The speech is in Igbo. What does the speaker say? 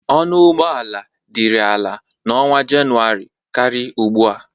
Ọnụ ụgbọ ala dịrị ala na ọnwa Jenụwarị karị ugbu a.